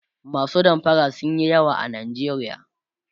masu damfara sunyi yawa a nijeriya